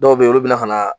Dɔw bɛ yen olu bɛna ka na